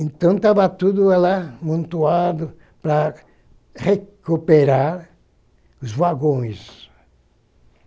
Então, estava tudo lá montado para recuperar os vagões.